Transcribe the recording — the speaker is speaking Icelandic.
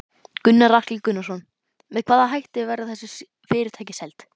Gunnar Atli Gunnarsson: Með hvaða hætti verða þessi fyrirtæki seld?